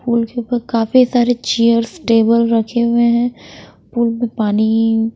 काफी सारे chairs table रखे हुए हैं पुल में पानी--